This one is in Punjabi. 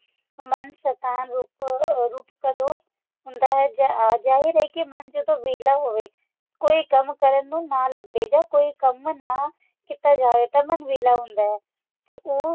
ਮਨ ਸ਼ੈਤਾਨ ਰੂਪ ਰੂਪ ਕਦੋ ਹੁੰਦਾ ਹੈ ਜਾਹਿ ਜਾਹਿਰ ਹੈ ਕੇ ਮਨ ਜਦੋ ਵੇਹਲਾ ਹੋਵੇ ਕੋਈ ਕੰਮ ਕਰਨ ਨੂੰ ਨਾ ਲੱਭੇ ਜਾ ਕੋਈ ਕੰਮ ਨਾ ਕੀਤਾ ਜਾਵੇ ਤਾ ਮਨ ਵੇਹਲਾ ਹੁੰਦਾ ਹੈ ਤੇ ਉਹ